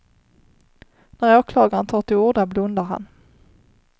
När åklagaren tar till orda blundar han.